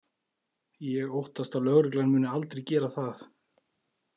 Ég óttast að lögreglan muni aldrei gera það.